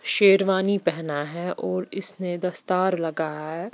शेरवानी पहना है और इसने दस्तार लगाया है।